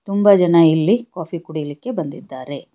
ತುಂಬಾ ಜನ ಇಲ್ಲಿ ಕಾಫಿ ಕುಡಿಲಿಕ್ಕೆ ಬಂದಿದ್ದಾರೆ.